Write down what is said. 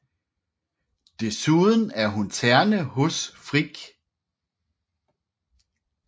Desuden er hun terne hos Frigg